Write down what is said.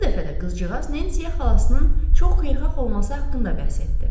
Bu dəfə də qızcığaz Nensiyə xalasının çox xeyirxah olması haqqında bəhs etdi.